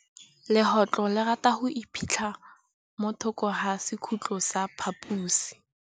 Legôtlô le rata go iphitlha mo thokô ga sekhutlo sa phaposi.